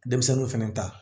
Denmisɛnninw fɛnɛ ta